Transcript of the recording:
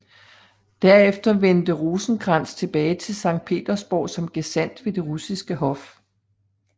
Derefter vendte Rosenkrantz tilbage til Sankt Petersborg som gesandt ved det russiske hof